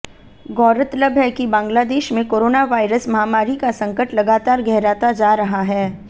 गौरतलब है कि बांग्लादेश में कोरोना वायरस महामारी का संकट लगातार गहराता जा रहा है